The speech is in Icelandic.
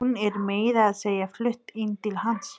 Hún er meira að segja flutt inn til hans.